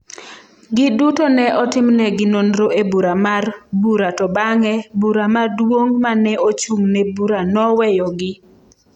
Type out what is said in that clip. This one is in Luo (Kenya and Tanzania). Giduto ne otimnegi nonro e bura mar bura to bang’e, bura maduong’ ma ne ochung’ ne bura noweyogi.